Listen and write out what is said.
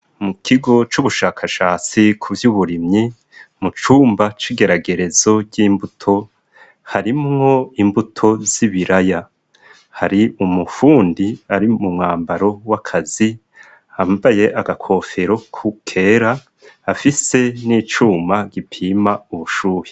Mu kigo c'ubushakashatsi ku vyo uburimyi mu cumba c'igeragerezo ry'imbuto harimwo imbuto z'ibiraya hari umufundi ari mu mwambaro w'akazi ambaye agakofero ku kera afise n'icuma gipima ubushuhi.